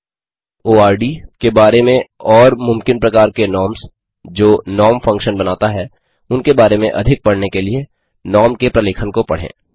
आर्डोर्ड के बारे में और मुमकिन प्रकार के नॉर्म्स जो नॉर्म नॉर्म फंक्शन बनाता है उनके बारे में अधिक पढने के लिए नॉर्म के प्रलेखन को पढ़ें